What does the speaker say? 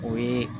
O ye